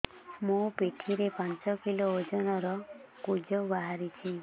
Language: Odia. ମୋ ପିଠି ରେ ପାଞ୍ଚ କିଲୋ ଓଜନ ର କୁଜ ବାହାରିଛି